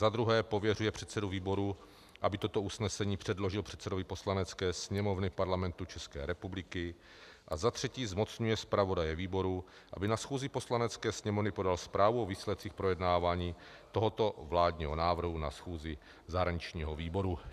Za druhé pověřuje předsedu výboru, aby toto usnesení předložil předsedovi Poslanecké sněmovny Parlamentu České republiky, a za třetí zmocňuje zpravodaje výboru, aby na schůzi Poslanecké sněmovny podal zprávu o výsledcích projednávání tohoto vládního návrhu na schůzi zahraničního výboru.